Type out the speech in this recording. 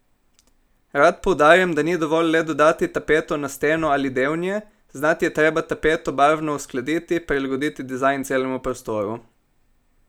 Rad poudarjam, da ni dovolj le dodati tapeto na steno ali del nje, znati je treba tapeto barvno uskladiti, prilagoditi dizajn celemu prostoru.